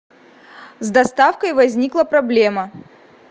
с доставкой возникла проблема